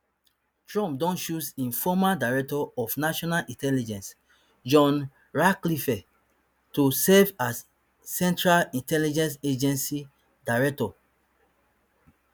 trump don choose im former director of national intelligence john ratcliffe to serve as central intelligence agency director